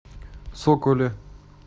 соколе